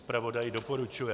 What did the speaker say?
Zpravodaj doporučuje.